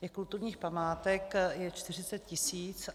Těch kulturních památek je 40 tisíc.